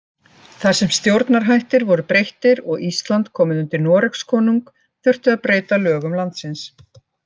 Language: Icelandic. Þar sem stjórnarhættir voru breyttir og Ísland komið undir Noregskonung þurfti að breyta lögum landsins.